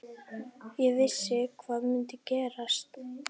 Ég vissi hvað myndi gerast.